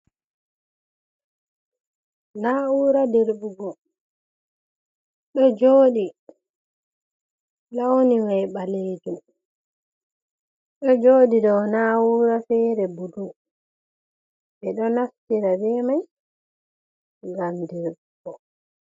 Na'ura dirɓugo ɗo joɗi launi mai ɓalejum ɗo joɗi dou na'ura fere bulu. Ɓeɗo naftira be mai ngam dirɓugo.